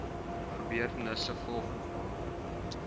gebeurtenisse volgens datum